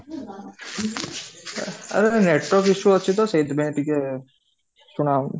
ଅ ଆରେ network issue ଅଛି ତ ସେଠି ପାଇଁ ଟିକେ ଶୁଣା ଯାଉନି